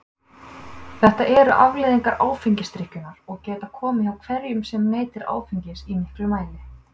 Þetta eru afleiðingar áfengisdrykkjunnar og geta komið hjá hverjum sem neytir áfengis í miklum mæli.